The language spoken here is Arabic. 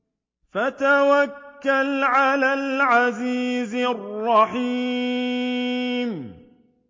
وَتَوَكَّلْ عَلَى الْعَزِيزِ الرَّحِيمِ